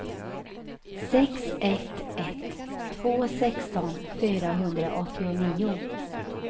sex ett ett två sexton fyrahundraåttionio